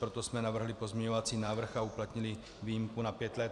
Proto jsme navrhli pozměňovací návrh a uplatnili výjimku na pět let.